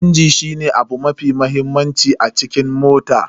Injin shine abu mafi mahimmanci a cikin mota.